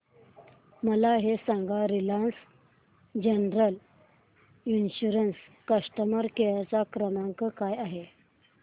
मला हे सांग रिलायन्स जनरल इन्शुरंस चा कस्टमर केअर क्रमांक काय आहे